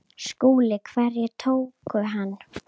SKÚLI: Hverjir tóku hann?